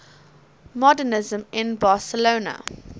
modernisme in barcelona